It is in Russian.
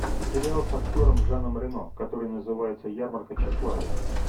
сериал с актером жаном рено который называется ярмарка тщеславия